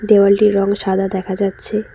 দেওয়ালটির রং সাদা দেখা যাচ্ছে।